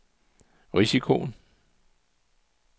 risikoen